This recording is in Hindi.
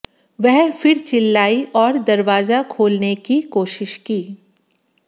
वह फिर चिल्लाई और दरवाजा खोलने की कोशिश की